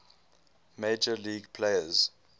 major league players